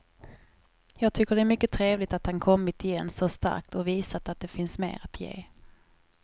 Jag tycker det är mycket trevligt att han kommit igen så starkt och visat att det finns mer att ge.